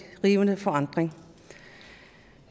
rivende forandring